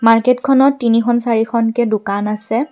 মাৰ্কেটখনত তিনিখন চাৰিখনকে দোকান আছে।